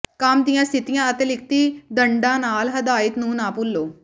ਕੰਮ ਦੀਆਂ ਸਥਿਤੀਆਂ ਅਤੇ ਲਿਖਤੀ ਦੰਡਾਂ ਨਾਲ ਹਦਾਇਤ ਨੂੰ ਨਾ ਭੁੱਲੋ